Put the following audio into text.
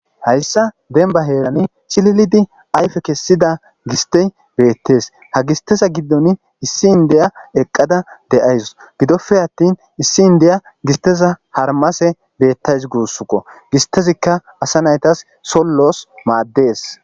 Hayssa denba heerani chililidi ayfe kessida gistey beettes ha gisteza giddon issin deya eqqada de7ayss gidoppe attin issi n deya gisteza harmase beettays guussuko gistezikka asa naytas sollos maaddees.